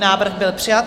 Návrh byl přijat.